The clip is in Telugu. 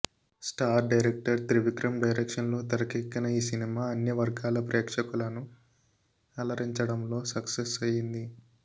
స్టార్ డైరెక్టర్ త్రివిక్రమ్ డైరెక్షన్లో తెరకెక్కిన ఈ సినిమా అన్ని వర్గాల ప్రేక్షకులను అలరించడంలో సక్సె్స్ అయ్యింది